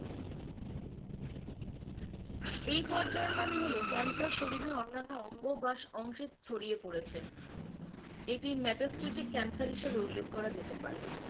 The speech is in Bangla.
এই পর্যার মানে হলো cancer শরীরের অন্যাণ্য অঙ্গ বা অংশে ছড়িয়ে পড়েছে এটি matastatic cancer হিসেবে উল্লেখ করা যেতে পারে।